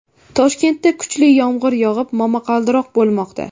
Toshkentda kuchli yomg‘ir yog‘ib, momaqaldiroq bo‘lmoqda.